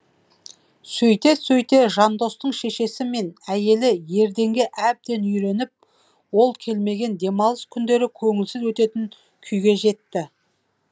сөйте сөйте жандостың шешесі мен әйелі ерденге әбден үйреніп ол келмеген демалыс күндері көңілсіз өтетін күйге жетті